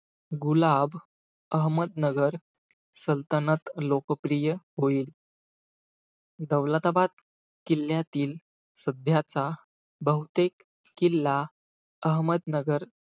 गुलाब अहमदनगर सल्तनत लोकप्रिय होईल. दौलताबाद किल्ल्यातील सध्याचा बहुतेक किल्ला अहमदनगर,